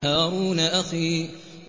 هَارُونَ أَخِي